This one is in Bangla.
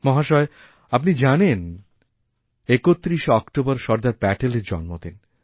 মহাশয় আপনি জানেন যে ৩১শে অক্টোবরসর্দার প্যাটেলের জন্মদিন